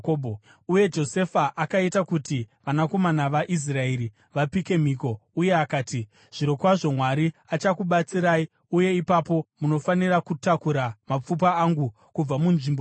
Uye Josefa akaita kuti vanakomana vaIsraeri vapike mhiko uye akati, “Zvirokwazvo Mwari achakubatsirai, uye ipapo munofanira kutakura mapfupa angu kubva munzvimbo ino.”